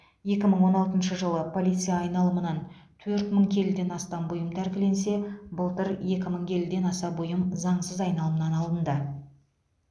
екі мың он алтыншы жылы полиция айналымынан төрт мың келіден астам бұйым тәркіленсе былтыр екі мың келіден аса бұйым заңсыз айналымнан алынды